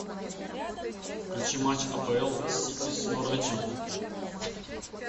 включи матч апл сити с норвичем